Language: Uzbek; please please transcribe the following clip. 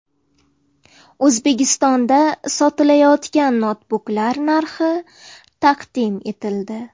O‘zbekistonda sotilayotgan noutbuklar narxi taqdim etildi.